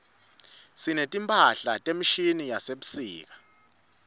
sineti mphahla tefashini tasebusika